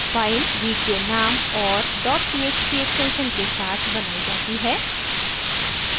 file वीकडे नाम और dot txt एक्सटेंशन के साथ बनाई जाती है